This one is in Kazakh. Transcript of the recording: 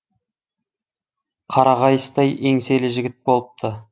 қара қайыстай еңселі жігіт болыпты